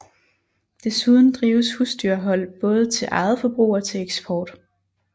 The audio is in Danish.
Desuden drives husdyrhold både til eget forbrug og til eksport